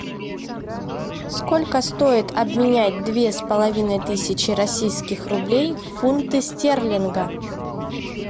сколько стоит обменять две с половиной тысячи российских рублей в фунты стерлинга